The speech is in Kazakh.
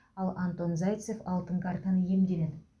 ал антон зайцев алтын картаны иемденеді